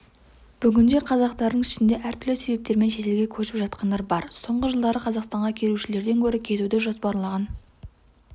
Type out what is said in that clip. бүгінде қазақтардың ішінде әртүрлі себептермен шетелге көшіп жатқандар бар соңғы жылдары қазақстанға келушілерден гөрі кетуді жоспарлаған